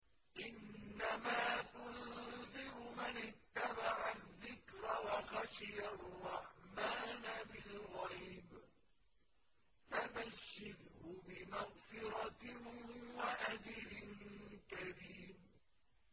إِنَّمَا تُنذِرُ مَنِ اتَّبَعَ الذِّكْرَ وَخَشِيَ الرَّحْمَٰنَ بِالْغَيْبِ ۖ فَبَشِّرْهُ بِمَغْفِرَةٍ وَأَجْرٍ كَرِيمٍ